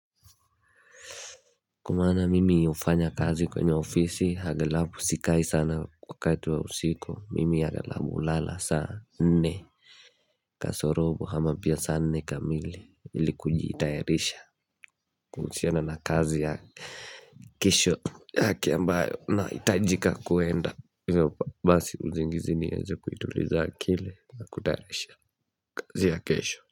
Kwamana mimi hufanya kazi kwenye ofisi hagelabu sikai sana kwa kaitu wa usiku mimi hagelabu lala sana nne kasorobu ama pia sana nne kamili ili kujitayarisha kuhusiana na kazi ya kesho yake ambayo nahitajika kuenda basi uzingizi niweza kuituliza akili na kutayarisha kazi ya kesho.